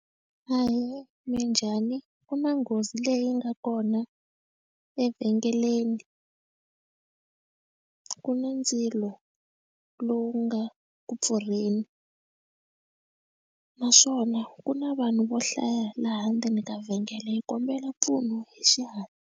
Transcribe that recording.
Ahee minjhani ku na nghozi leyi nga kona evhengeleni ku na ndzilo lowu nga ku pfurheni naswona ku na vanhu vo hlaya laha ndzeni ka vhengele yi kombela mpfuno hi xihatla.